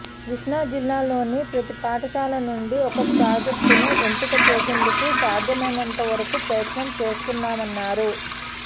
కష్ణాజిల్లాలోని ప్రతి పాఠశాల నుండి ఒక ప్రాజెక్టును ఎంపిక చేసేందుకు సాధ్యమైనంత వరకు ప్రయత్నం చేస్తున్నామన్నారు